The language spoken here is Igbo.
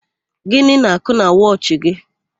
Gịnị n'àkụ́ na wọchị gị?